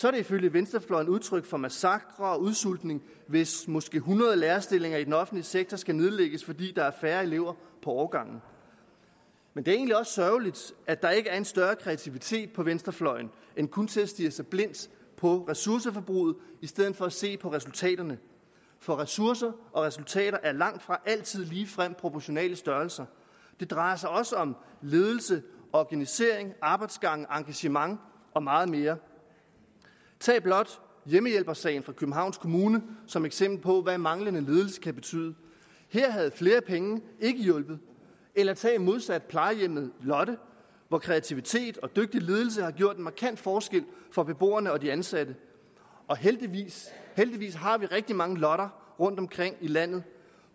er det ifølge venstrefløjen udtryk for en massakre og udsultning hvis måske hundrede lærerstillinger i den offentlige sektor skal nedlægges fordi der er færre elever på årgangen men det er egentlig også sørgeligt at der ikke er en større kreativitet på venstrefløjen end kun til at stirre sig blind på ressourceforbruget i stedet for se på resultaterne for ressourcer og resultater er langtfra altid ligefrem proportionale størrelser det drejer sig også om ledelse organisering arbejdsgange engagement og meget mere tag blot hjemmehjælpersagen fra københavns kommune som eksempel på hvad manglende ledelse kan betyde her havde flere penge ikke hjulpet eller tag modsat plejehjemmet lotte hvor kreativitet og dygtig ledelse har gjort en markant forskel for beboerne og de ansatte heldigvis har vi rigtig mange lotter rundtomkring i landet